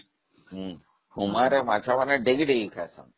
ହୁମା ରେ ମାଛ ମାନେ ବହୁତ ଖାସ, ଦେଇଦେଲେ